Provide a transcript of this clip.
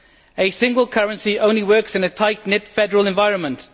A single currency only works in a tight knit federal environment.